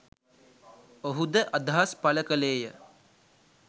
ඔහුද අදහස් පළ කළේය.